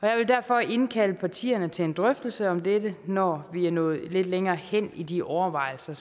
jeg vil derfor indkalde partierne til en drøftelse om dette når vi er nået lidt længere hen i de overvejelser